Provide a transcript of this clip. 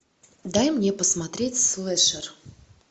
дай мне посмотреть слэшер